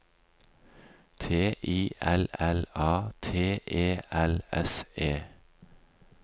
T I L L A T E L S E